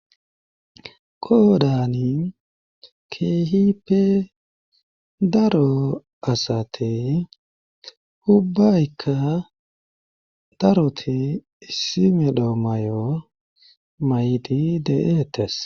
Koddani keehippe daro asati hubbaykka daroti issi medhodho may'o maydi de'eetes